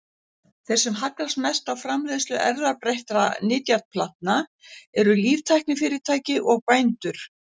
Þeir sem hagnast mest á framleiðslu erfðabreyttra nytjaplantna eru líftæknifyrirtæki og bændur.